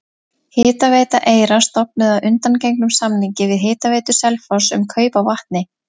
Hitaveita Eyra stofnuð að undangengnum samningi við Hitaveitu Selfoss um kaup á vatni.